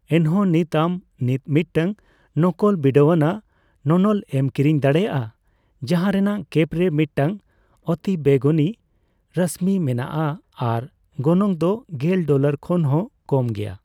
ᱮᱱᱦᱚᱸ ᱱᱤᱛ ᱟᱢ ᱱᱤᱛ ᱢᱤᱫᱴᱟᱝ ᱱᱚᱠᱚᱞ ᱵᱤᱰᱟᱹᱣᱟᱱᱟᱜ ᱱᱚᱱᱚᱞ ᱮᱢ ᱠᱤᱨᱤᱧ ᱫᱟᱲᱮᱭᱟᱜᱼᱟ ᱡᱟᱦᱟᱸ ᱨᱮᱱᱟᱜ ᱠᱮᱯ ᱨᱮ ᱢᱤᱫᱴᱟᱝ ᱚᱛᱤᱵᱮᱜᱩᱱᱤ ᱨᱚᱥᱢᱤ ᱢᱮᱱᱟᱜᱼᱟ ᱟᱨ ᱜᱚᱱᱚᱝ ᱫᱚ ᱜᱮᱞ ᱰᱚᱞᱟᱨ ᱠᱷᱚᱱ ᱦᱚᱸ ᱠᱚᱢ ᱜᱮᱭᱟ ᱾